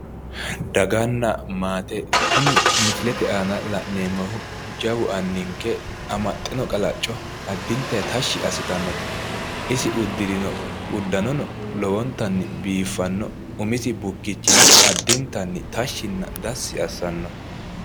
daganna maate kuni misilete aana la'neemoti jawu anninke amaxxe no qalacco addinta tashshi assitannote isi uddirino uddanono lowontanni biifanno umisi bukkichino addintanni tashshinna dassi assanno.